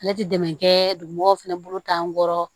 Ale ti dɛmɛ kɛ dugumɔgɔ fɛnɛ bolo t'an kɔrɔ